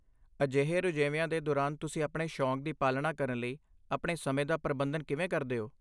ਅਜਿਹੇ ਰੁਝੇਵਿਆਂ ਦੇ ਦੌਰਾਨ ਤੁਸੀਂ ਆਪਣੇ ਸ਼ੌਕ ਦੀ ਪਾਲਣਾ ਕਰਨ ਲਈ ਆਪਣੇ ਸਮੇਂ ਦਾ ਪ੍ਰਬੰਧਨ ਕਿਵੇਂ ਕਰਦੇ ਹੋ?